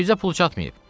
Bizə pul çatmayıb.